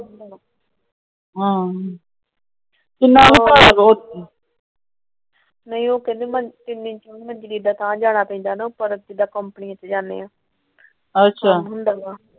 ਨਹੀਂ ਉਹ ਕਹਿੰਦੀ ਜਾਣਾ ਪੈਂਦਾ ਨਾ ਉੱਪਰ ਜਿਵੇ ਆਪਾ ਕੰਪਨੀ ਚ ਜਾਣੇ ਆ।